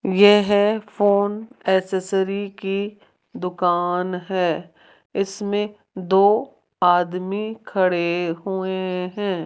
यह phone accessory की दुकान है इसमें दो आदमी खड़े हुए हैं।